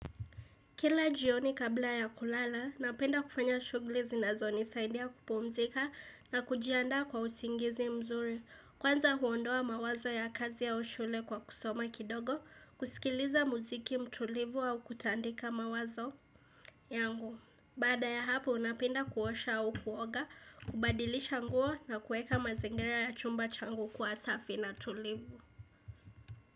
Kila jioni kabla ya kulala, napenda kufanya shugli zinazonisaidia kupumzika na kujiandaa kwa usingizi mzuri. Kwanza huondoa mawazo ya kazi au shule kwa kusoma kidogo, kusikiliza muziki mtulivu au kutandika mawazo yangu. Baada ya hapo, napenda kuosha au kuoga, kubadilisha nguo na kueka mazingira ya chumba changu kuwa safi na tulivu.